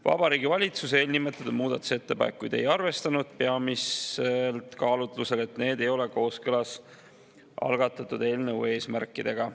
Vabariigi Valitsus eelnimetatud muudatusettepanekuid ei arvestanud, peamiselt kaalutlusel, et need ei ole kooskõlas algatatud eelnõu eesmärkidega.